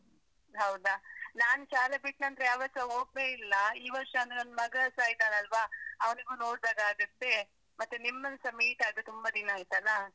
ಹೌದಾ? ನಾನ್ ಶಾಲೆ ಬಿಟ್ಟನಂತ್ರ ಯಾವತ್ತ್ಸ ಹೋಗ್ಲೇ ಇಲ್ಲ. ಈ ವರ್ಷ ಅಂದ್ರೆ ನನ್ನ್ ಮಗಸ ಇದನಲ್ವ, ಅವ್ನಿಗೂ ನೋಡಿದಾಗ್ ಆಗತ್ತೆ, ಮತ್ತೆ ನಿಮ್ಮನ್ಸ meet ಆಗ್ದೇ ತುಂಬಾ ದಿನ ಆಯ್ತಲ್ಲ?